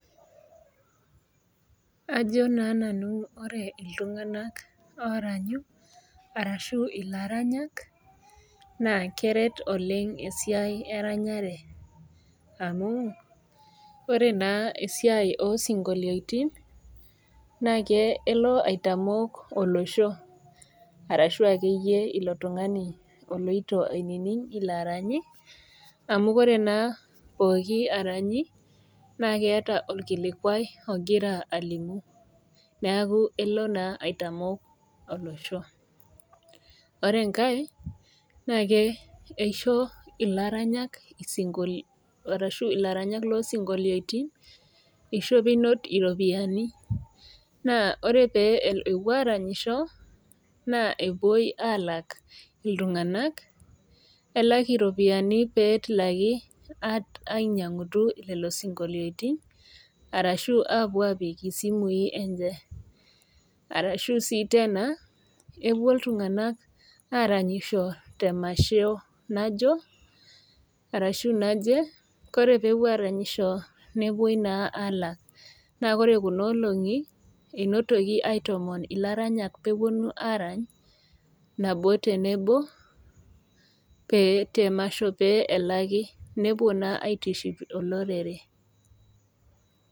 Ajo naa nanu ore iltunganak ooranyu arashu ilaranyak naa keret oleng esiai eranyare amu ore naa esiai oo sionkolotin naa kelo aitamok olosho arashu akeyie ilo tungani oloito ainining ilo oranyi amu ore naa pooki oranyi naa keeta orkilikuai ogira alimu neaku elo naa aitamok olosho. Ore enkae naa keisho ilaranyak loo sionkolotin iropiyiani. Ore pee epuo aaranyisho naa kelaki iltunganak elak iropiyiani pee itilaki ainyangu lelo sionkolotin arashu aapuo aapik isimui enye. Ore sii {tena} epuoi aarany te masho naje naa ore pee epuo aaranyisho nelaki. Ore kuna olongi entoki aitomoon ilaranyak pee eponu arany nabo tenebo te masho pee elaki, nepuo naa aitiship olorere.